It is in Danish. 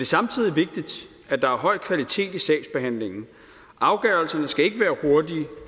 samtidig vigtigt at der er høj kvalitet i sagsbehandlingen afgørelserne skal ikke være hurtige